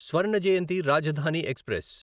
Swarna Jayanti Rajdhani express